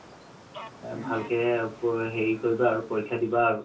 ভালকে হেৰি কৰিবা আৰু পৰীক্ষা দিবা আৰু